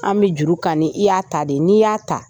An bɛ juru kani, i y'a ta de . N'i y'a ta.